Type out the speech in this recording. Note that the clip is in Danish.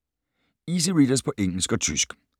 Easy Readers på engelsk og tysk